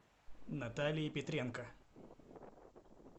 наталии петренко